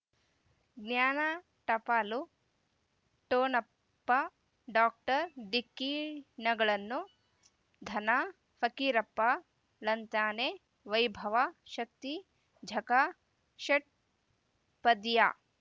ಜ್ಞಾನ ಟಪಾಲು ಠೊಣಪ ಡಾಕ್ಟರ್ ಢಿಕ್ಕಿ ಣಗಳನು ಧನ ಫಕೀರಪ್ಪ ಳಂತಾನೆ ವೈಭವ್ ಶಕ್ತಿ ಝಗಾ ಷಟ್ಪದಿಯ